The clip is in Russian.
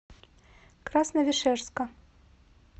красновишерска